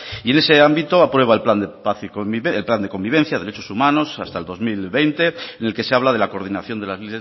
y en ese ámbito aprueba el plan de convivencia derechos humanos hasta el dos mil veinte en el que se habla de la coordinación de las